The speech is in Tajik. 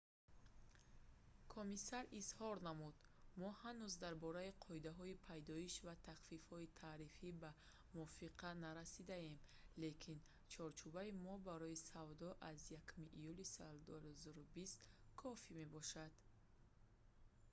комиссар изҳор намуд: «мо ҳанӯз дар бораи қоидаҳои пайдоиш ва тахфифҳои тарифӣ ба мувофиқа нарасидаем лекин чорчӯбаҳои мо барои савдо аз 1 июли соли 2020 кофь мебошад